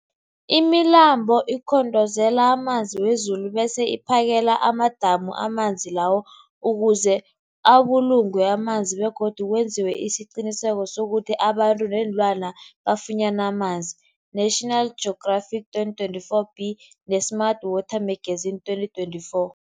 Imilambo ikhongozela amanzi wezulu bese iphakele amadamu amanzi lawo ukuze abulungwe amanzi begodu kwenziwe isiqiniseko sokuthi abantu neenlwana bafunyana amanzi, National Geographic 2024b, ne-Smart Water Magazine 2024.